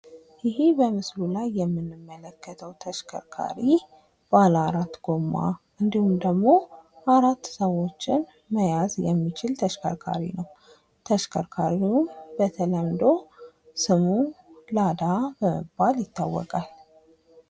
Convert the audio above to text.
ይህ በምስሉ ላይ የምንመለከተው ተሽከርካሪ፦ ባለአራት ጎማ እንዲሁም ደግሞ አራት ሰዎችን መያዝ የሚችል ተሽከርካሪ ነው። ተሽከርካሪውም በተለምዶ ስሙ ላዳ በመባል ይታወቃል።